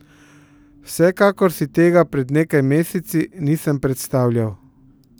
Vsekakor si tega pred nekaj meseci nisem predstavljal.